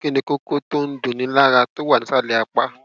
kí ni kókó tó ń dunni lára tó wà ní ìsàlẹ apá